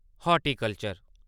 horticulture